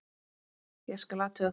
Ég skal athuga það.